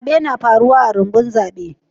Zabe na faruwa a'rumbun zabe.